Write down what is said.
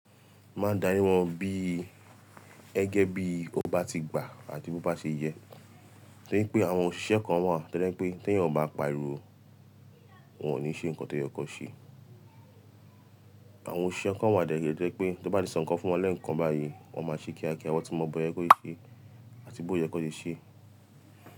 Mmá ń dárí wọn bí gẹgé bí ó bá ti gbà àti bí ó bá ṣe yẹ. Torí pé àwọn òṣìṣẹ́ kan wà tó jẹ̀ pé tí ẹ̀yàn ò bá pariwo, wọn ò ní ṣe nǹkan tó yẹ kó ṣe. Àwọn òṣìṣẹ́ kan wà dẹ̀ rẹ́ to jẹ̀ pé tó bá ti sọ nǹkan fún wọn lẹ́ẹ̀kan báyìí, wọn máa ṣe kíákíá, wọ́n tì mọ bó yẹ kó ṣe àti bó yẹ kó ṣe ṣe.